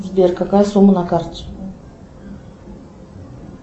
сбер какая сумма на карте